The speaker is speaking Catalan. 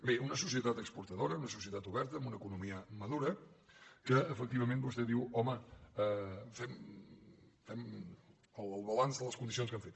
bé una societat exportadora una societat oberta amb una economia madura que efectivament vostè diu home fem el balanç de les condicions que hem fet